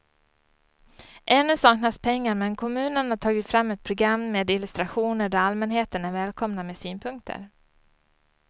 Ännu saknas pengar men kommunen har tagit fram ett program med illustrationer där allmänheten är välkomna med synpunkter.